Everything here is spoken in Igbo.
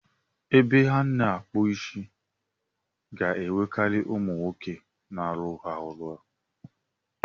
Ebe a na-akpụ isi ga-enwekari umu nwoke n'aruru ha ọrụ.